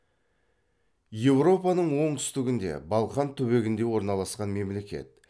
еуропаның оңтүстігінде балқан түбегінде орналасқан мемлекет